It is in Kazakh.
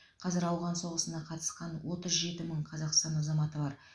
қазір ауған соғысына қатысқан отыз жеті мың қазақстан азаматы бар